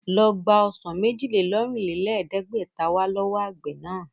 Ló gbà ọsàn méjì-lé-lọ́rìnlẹ̀ẹ́dẹ́gbẹ̀ta wá lọ́wọ́ àgbẹ̀ náà!